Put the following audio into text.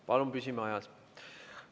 Palun püsime ajas.